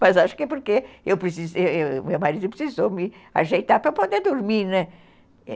Mas acho que é porque meu marido precisou me ajeitar para eu poder dormir, né?